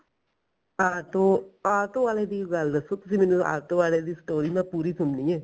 auto auto ਵਾਲੇ ਦੀ ਗੱਲ ਦੱਸੋ ਤੁਸੀਂ ਮੈਨੂੰ ਆਟੋ ਵਾਲੇ ਦੀ story ਮੈਂ ਪੂਰੀ ਸੁਨਣੀ ਐ